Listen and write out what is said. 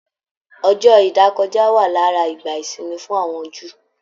Ọjọ ìdákọja wa lára ìgbà ìsinmi fún àwọn Júù.